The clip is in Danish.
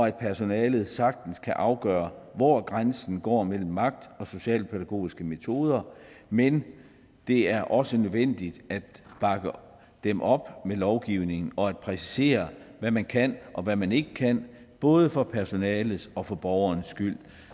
at personalet sagtens kan afgøre hvor grænsen går mellem magt og socialpædagogiske metoder men det er også nødvendigt at bakke dem op med lovgivning og at præcisere hvad man kan og hvad man ikke kan både for personalets og for borgerens skyld